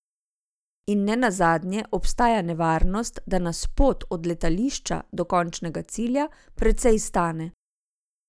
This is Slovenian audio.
In ne nazadnje, obstaja nevarnost, da nas pot od letališča do končnega cilja precej stane.